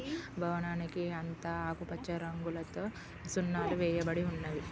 భవనానికి అంత ఆకుపచ్చ రంగులతో సున్నాలు వేయబడి ఉన్నవి.